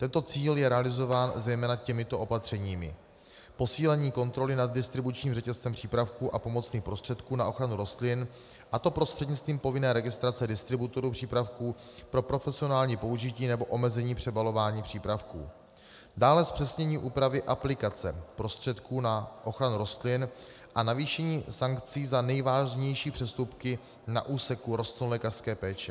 Tento cíl je realizován zejména těmito opatřeními: posílení kontroly nad distribučním řetězcem přípravků a pomocných prostředků na ochranu rostlin, a to prostřednictvím povinné registrace distributorů přípravků pro profesionální použití, nebo omezení přebalování přípravků, dále zpřesnění úpravy aplikace prostředků na ochranu rostlin a navýšení sankcí za nejvážnější přestupky na úseku rostlinolékařské péče.